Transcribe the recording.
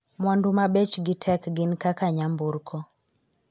mwandu ma bechgi tek gin kaka nyamburko